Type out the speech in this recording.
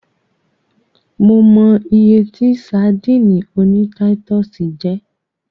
Mo mọ iye tí sadíìnì oní táítọ̀sì jẹ́.